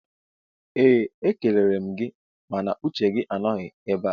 ee e kelere m gị mana uche gị anọghị ebe a